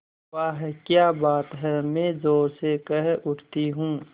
वाह क्या बात है मैं ज़ोर से कह उठती हूँ